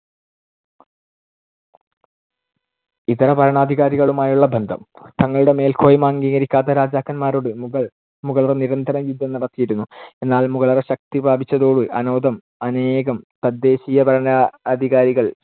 ഇതരഭരണാധികാരികളുമായുള്ള ബന്ധം. തങ്ങളുടെ മേൽക്കോയ്മ അംഗീകരിക്കാത്ത രാജാക്കന്മാരോട് മുഗൾ മുഗളര്‍ നിരന്തരം യുദ്ധം നടത്തിയിരുന്നു. എന്നാൽ മുഗളർ ശക്തി പ്രാപിച്ചതോടെ അനോദം~ അനേകം തദ്ദേശീയഭരണാധികാരികൾ